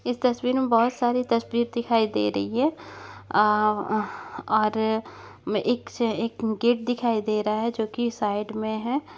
इस तस्वीर मे बहुत सारी तस्वीर दिखाई दे रही है अअअ अह और एक एक गेट दिखाई दे रहा है जो की साइड मे है।